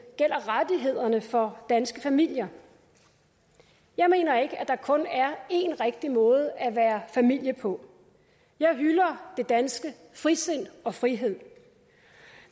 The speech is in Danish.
gælder rettighederne for danske familier jeg mener ikke at der kun er én rigtig måde at være familie på jeg hylder det danske frisind og frihed